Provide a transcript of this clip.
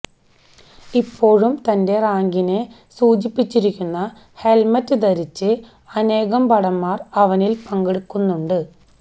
ഇപ്പോഴും തന്റെ റാങ്കിനെ സൂചിപ്പിച്ചിരിക്കുന്ന ഹെൽമെറ്റ് ധരിച്ച് അനേകം ഭടന്മാർ അവനിൽ പങ്കെടുക്കുന്നുണ്ട്